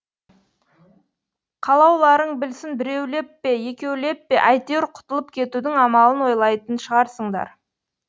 қалауларың білсін біреулеп пе екеулеп пе әйтеуір құтылып кетудің амалын ойлайтын шығарсыңдар